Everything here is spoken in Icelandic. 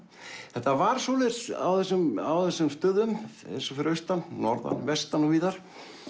þetta var svoleiðis á þessum á þessum stöðum eins og fyrir austan norðan vestan og víðar